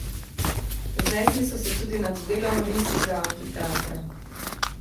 Znesli so se tudi nad delom rimskega amfiteatra.